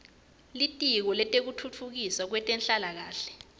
litiko letekutfutfukiswa kwetenhlalakahle